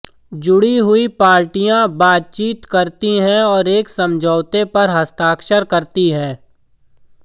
जुड़ी हुई पार्टियाँ बातचीत करती हैं और एक समझौते पर हस्ताक्षर करती हैं